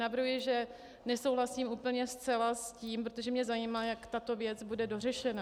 Navrhuji, že nesouhlasím úplně zcela s tím, protože mě zajímá, jak tato věc bude dořešena.